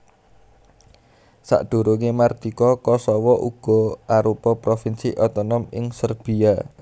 Sadurungé mardika Kosowo uga arupa provinsi otonom ing Serbiya